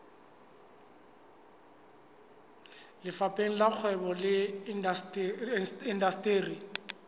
lefapheng la kgwebo le indasteri